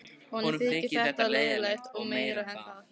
Honum þyki þetta leiðinlegt og meira en það.